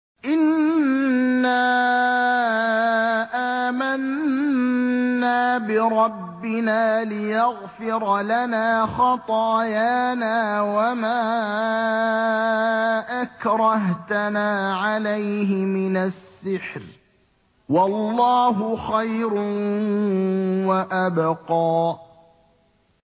إِنَّا آمَنَّا بِرَبِّنَا لِيَغْفِرَ لَنَا خَطَايَانَا وَمَا أَكْرَهْتَنَا عَلَيْهِ مِنَ السِّحْرِ ۗ وَاللَّهُ خَيْرٌ وَأَبْقَىٰ